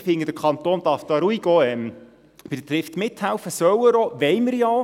Ich finde, der Kanton darf hier bei Trift ruhig mithelfen, das soll er auch, und das wollen wir ja auch.